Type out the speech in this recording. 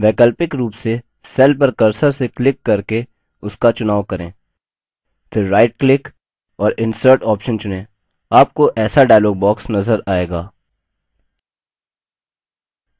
वैकल्पिक रूप से cell पर cursor से click करके उसका चुनाव करें फिर right click और insert option चुनें आपको ऐसा dialog box नज़र आएगा